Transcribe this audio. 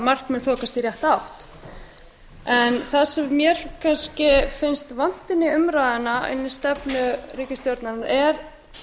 margt mun þokast í rétta átt það sem mér kannski finnst vanta inn í umræðuna inn í stefnu ríkisstjórnarinnar er